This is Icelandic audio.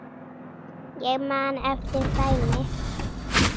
Ég man eftir dæmi.